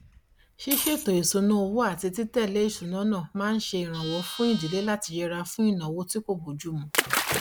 ṣíṣètò ìsúná owó àti títẹlé ìsúná náà máa ǹ ṣe ìrànwọ fún ìdílé láti yẹra fún ìnáwó tí kò bójùmu